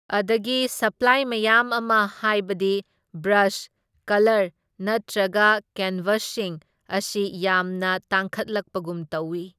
ꯑꯗꯒꯤ ꯁꯄ꯭ꯂꯥꯏ ꯃꯌꯥꯝ ꯑꯃ ꯍꯥꯢꯕꯗꯤ ꯕ꯭ꯔꯁ, ꯀꯂꯔ, ꯅꯠꯇ꯭ꯔꯒ ꯀꯦꯟꯕꯁꯁꯤꯡ ꯑꯁꯤ ꯌꯥꯝꯅ ꯇꯥꯡꯈꯠꯂꯛꯄꯒꯨꯝ ꯇꯧꯢ꯫